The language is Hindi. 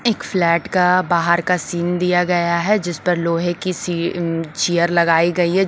एक फ्लैट का बाहर का सीन दिया गया है जिसपर लोहे की सी अं चेयर लगाई गयी है।